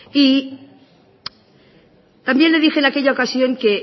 y también le dije en aquella ocasión que